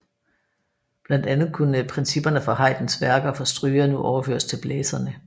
Blandt andet kunne principperne fra Haydns værker for strygere nu overføres til blæserne